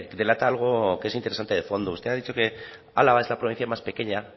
delata algo que es interesante de fondo usted ha dicho que álava es la provincia más pequeña